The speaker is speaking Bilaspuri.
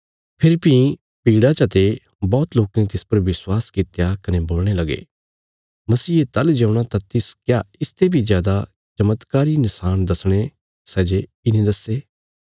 फेरी भीं भीड़ा चते बौहत लोकें तिस पर विश्वास कित्या कने बोलणे लगे मसीहे ताहली जे औणा तां तिस क्या इसते बी जादा चमत्कारी नशाण दसणे सै जे इने दस्से